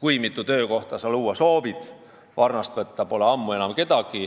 kui mitu töökohta sa luua soovid, ammu enam pole kedagi varnast võtta.